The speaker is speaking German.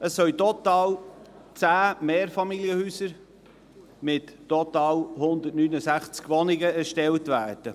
Es sollen total 10 Mehrfamilienhäuser mit total 169 Wohnungen erstellt werden.